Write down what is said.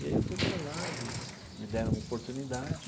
E aí eu fui para lá, eles me deram uma oportunidade.